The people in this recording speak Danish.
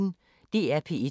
DR P1